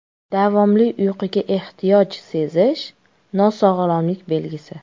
Davomli uyquga ehtiyoj sezish nosog‘lomlik belgisi.